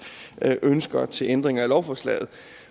ønsker til ændring af lovforslaget